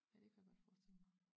Ja det kunne jeg godt forestille mig